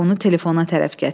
Onu telefona tərəf gətirir.